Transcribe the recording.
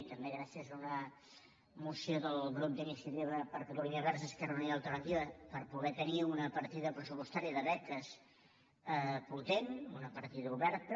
i també gràcies a una moció del grup d’iniciativa per catalunya verds esquerra unida i alternativa per poder tenir una partida pressupostària de beques potent una partida oberta